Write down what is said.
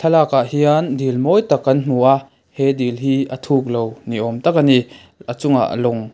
thlalak ah hian dil mawi tak kan hmu a he dil hi a thuk lo ni awm tak ani a chung ah lawng--